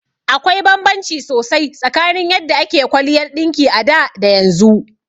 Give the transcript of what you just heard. Akwai banbanci sosai tsakanin yadda ake kwaliyar ɗinki a da da yanzu.